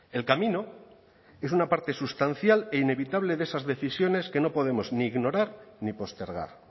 el camino es una parte sustancial e inevitable de esas decisiones que no podemos ni ignorar ni postergar